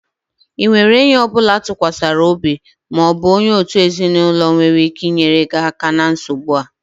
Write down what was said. Ị nwere enyi ọ bụla a tụkwasịrị obi ma ọ bụ onye òtù ezinụlọ nwere ike inyere gị aka na nsogbu a?